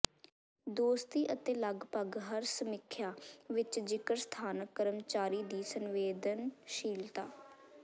ਦੋਸਤੀ ਅਤੇ ਲਗਭਗ ਹਰ ਸਮੀਖਿਆ ਵਿਚ ਜ਼ਿਕਰ ਸਥਾਨਕ ਕਰਮਚਾਰੀ ਦੀ ਸੰਵੇਦਨਸ਼ੀਲਤਾ